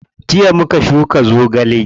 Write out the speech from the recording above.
Jiya muka shuka zogale.